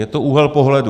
Je to úhel pohledu.